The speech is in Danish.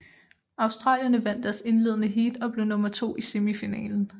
Australierne vandt deres indledende heat og blev nummer to i semifinalen